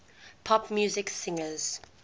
pop music singers